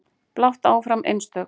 Blátt áfram einstök.